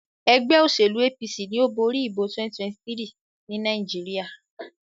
ègbé òṣèlú APC ní o bóri ìbò 2023 ní Nàìjíríà.